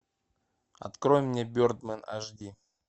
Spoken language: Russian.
открой мне бердмен аш ди